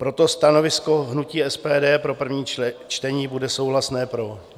Proto stanovisko hnutí SPD pro první čtení bude souhlasné pro.